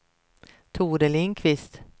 Tore Lindqvist